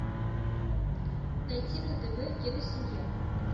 найти на тв киносемья